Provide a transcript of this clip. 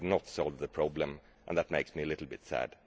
We have not solved the problem, and that makes me a little bit sad.